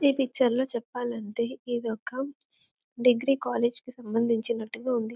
ఈ పిక్చర్లో చెప్పాలంటే ఇదొక డిగ్రీ కాలేజ్ కి సంబంధించినట్టుగా ఉంది.